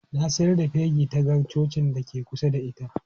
Na sayar da fegi ta ga cocin da ke kusa da ita.